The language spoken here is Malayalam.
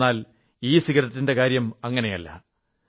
എന്നാൽ ഇസിഗരറ്റിന്റെ കാര്യം അങ്ങനെയല്ല